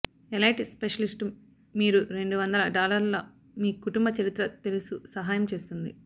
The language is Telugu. ఎలైట్ స్పెషలిస్ట్ మీరు రెండు వందల డాలర్ల మీ కుటుంబ చరిత్ర తెలుసు సహాయం చేస్తుంది